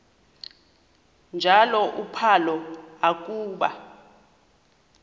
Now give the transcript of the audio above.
njalo uphalo akuba